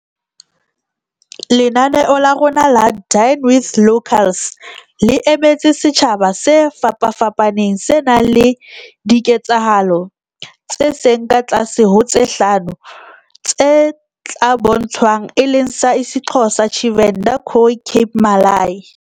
"Lenaneo la rona la Dine with Locals le emetse setjha ba se fapafapaneng, se nang le diketsahalo tse seng ka tlase ho tse hlano tse tla bo ntshwang, e leng sa isiXhosa, Tshivenḓa, Khoi, Cape Malay"